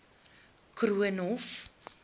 koornhof